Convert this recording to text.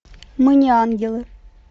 мы не ангелы